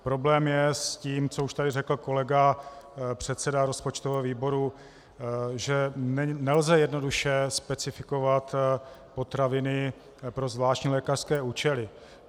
Problém je s tím, co už tady řekl kolega předseda rozpočtového výboru, že nelze jednoduše specifikovat potraviny pro zvláštní lékařské účely.